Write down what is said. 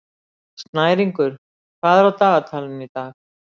Snæringur, hvað er á dagatalinu í dag?